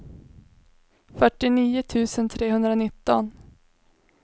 fyrtionio tusen trehundranitton